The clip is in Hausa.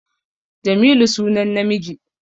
Jamilu sunan namiji